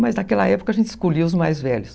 Mas naquela época a gente escolhia os mais velhos.